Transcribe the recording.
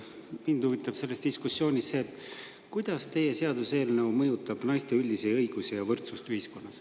Mind huvitab selle diskussiooni, kuidas mõjutab teie seaduseelnõu naiste üldisi õigusi ja võrdsust ühiskonnas.